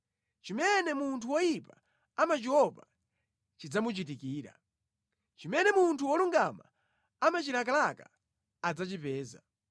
Chimene munthu woyipa amachiopa chidzamuchitikira; chimene munthu wolungama amachilakalaka adzachipeza.